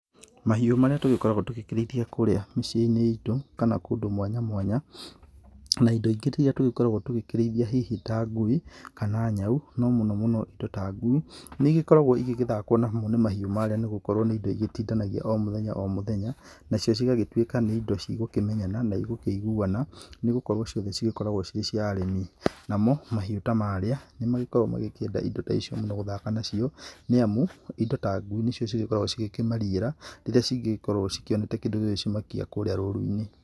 Mahiũ marĩa tũgĩkoragwo tũgĩkĩrĩithia kũrĩa mĩciĩ-inĩ itũ kana kũndũ mwanya mwanya, na indo iria rĩngĩ tũngĩkorwo tũkĩrĩthia hihi ta ngui, kana nyau, no mũno mũno indo ta ngui ,nĩ igĩkoragwo igĩthakwo nacio nĩ mahiũ marĩa, nĩgũkowro nĩ igĩtindanagia hamwe, omũthenya omũthenya, nacio cigagĩtuika nĩ indo cigũkĩmenyana na igũ kiuguana, nĩgũkorwo ciothe cigĩkoragwo cia arĩmi, namo mahiũ ta marĩa nĩmagĩkoragwo magĩkĩenda indo ta icio, nĩgũthaka nacio nĩ amu indo ta ngui nĩcio ikoragwo ikĩmarigĩra rĩrĩa rĩngĩkorwo cione kĩndũ gĩgũcimakia rũrũ-inĩ.